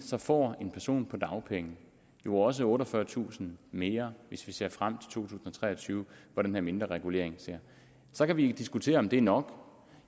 får en person på dagpenge jo også otteogfyrretusind mere hvis vi ser frem tusind og tre og tyve hvor den her mindre regulering sker så kan vi diskutere om det er nok